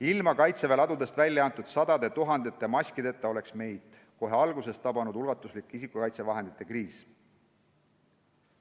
Ilma Kaitseväe ladudest välja antud sadade tuhandete maskideta oleks meid kohe alguses tabanud ulatuslik isikukaitsevahendite kriis.